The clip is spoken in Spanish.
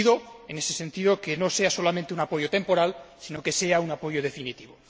Le pido, en ese sentido, que no sea solamente un apoyo temporal sino que sea un apoyo definitivo.